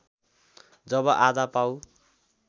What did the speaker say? जब आधा पाउ